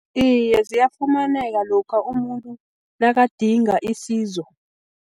Iye, ziyafumaneka lokha umuntu nakadinga isizo.